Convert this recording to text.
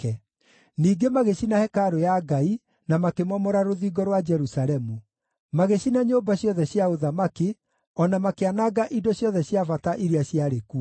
Ningĩ magĩcina hekarũ ya Ngai na makĩmomora rũthingo rwa Jerusalemu; magĩcina nyũmba ciothe cia ũthamaki, o na makĩananga indo ciothe cia bata iria ciarĩ kuo.